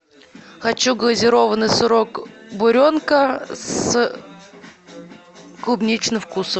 хочу глазированный сырок буренка с клубничным вкусом